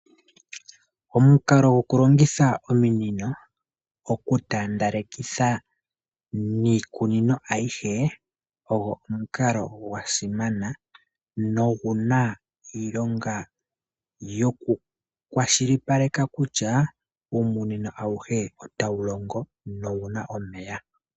Omukalo goku longitha ominino, oku taandalekitha niikunino ayihe, ogo omukalo gwa simana, no guna iilonga yo kukwashilipaleka kutya, uumunino awuhe otawu longo no wuna omeya.